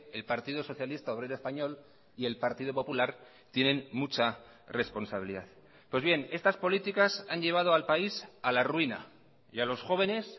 el partido socialista obrero español y el partido popular tienen mucha responsabilidad pues bien estas políticas han llevado al país a la ruina y a los jóvenes